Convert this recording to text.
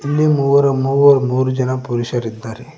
ಇಲ್ಲಿ ಮೂವರು ಮೂವ ಮೂರು ಜನ ಪುರುಷರಿದ್ದಾರೆ.